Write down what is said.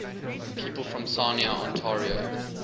people from sarnia ontario